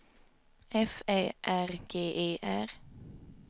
F Ä R G E R